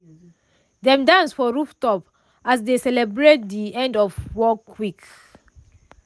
dem dance for rooftop as dey celebrate de end of workweek.